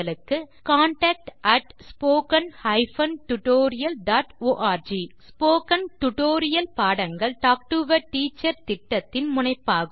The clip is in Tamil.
contact at spoken hyphen tutorial dot org spoken tutorial பாடங்கள் டாக் டு எ டீச்சர் திட்டத்தின் முனைப்பாகும்